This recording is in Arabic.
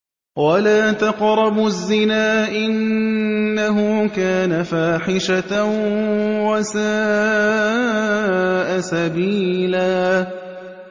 وَلَا تَقْرَبُوا الزِّنَا ۖ إِنَّهُ كَانَ فَاحِشَةً وَسَاءَ سَبِيلًا